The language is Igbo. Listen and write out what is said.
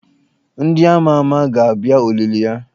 Ndị ama ama ga-abịa olili ya.